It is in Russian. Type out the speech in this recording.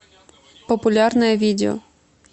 популярное видео